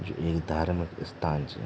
यु एक धार्मिक स्थान च ।